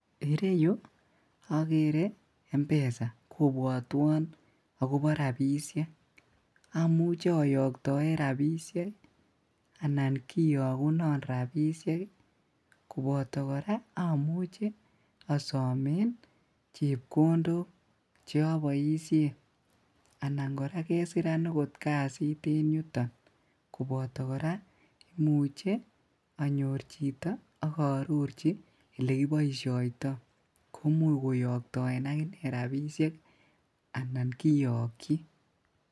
Ireyu okere M_pesa kobwotwon akobo rabisiek ,amuche oyoktoen rabisiek anan kiyokunon rabisiek ii koboto koraa amuche osomen chepkondok choboisien anan koraa kesiran okot kasit en yuton koboto koraa imuche anyor chito ak oororji olekiboisiotoi komuch koyoktoen akine rabisiek anan kiyokji.